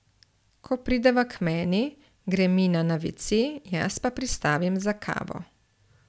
Ko prideva k meni, gre Mina na vece, jaz pa pristavim za kavo.